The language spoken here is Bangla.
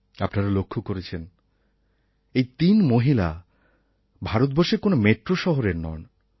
আপনারা লক্ষ্য করেছেন এই তিন মহিলা ভারতবর্ষের কোনো মেট্রো শহরের নন